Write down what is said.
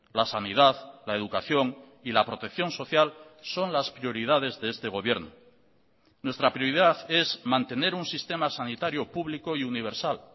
la sanidad la educación y la protección social son las prioridades de este gobierno nuestra prioridad es mantener un sistema sanitario público y universal